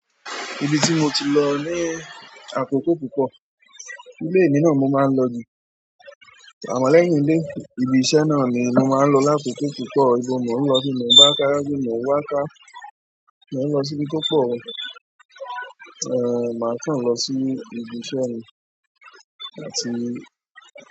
Ibi tí mo ti lọ ní àkókò púpọ̀. Ilé mi náà n mo máa ń lọ jù. Àmọ́ lẹ́yìn ilé, ibi iṣẹ́ náà ni mo máa ń lọ lákòókò púpọ̀. Ibo mo ń lọ sí, nígbà ká jáde, mo wá ká, mo ń lọ síbi kókó. Màá kàn lọ sí ibi iṣẹ́ mi. Àti.